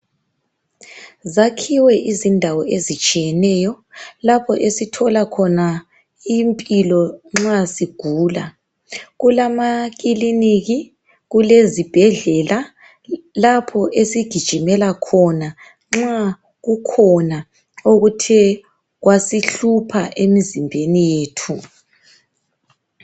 Zakhiwe indawo ezitshiyeneyo lapho esithola khona indawo yempilo nxa sigula kulamaklinikhi kulezibhedlela lapho esigijimela khona nxa kukhona okuthe kwasihlupha emzimbeni yethu